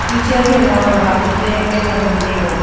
teacher hiya nauam bama flag Kaila ngan taiga.